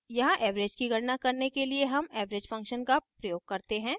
यहाँ average की गणना करने के लिए हम average function का प्रयोग करते हैं